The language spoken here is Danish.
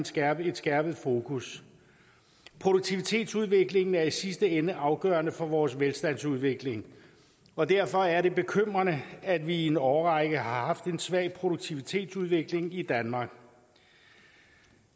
skærpet skærpet fokus produktivitetsudviklingen er i sidste ende afgørende for vores velstandsudvikling og derfor er det bekymrende at vi i en årrække har haft en svag produktivitetsudvikling i danmark